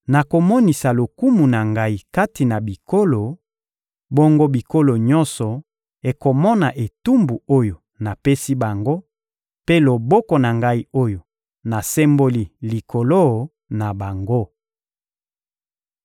Nakomonisa lokumu na Ngai kati na bikolo; bongo bikolo nyonso ekomona etumbu oyo napesi bango, mpe loboko na Ngai oyo nasemboli likolo na bango.